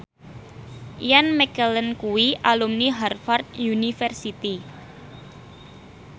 Ian McKellen kuwi alumni Harvard university